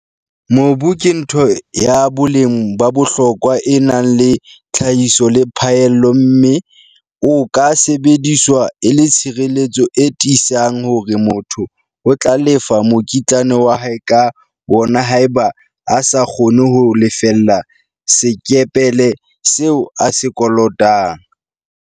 Mobu ke ntho ya boleng ba bohlokwa e nang le tlhahiso le phaello mme o ka sebediswa e le tshireletso e tiisang hore motho o tla lefa mokitlane wa hae ka wona haeba a sa kgone ho lefella sekepele seo a se kolotang.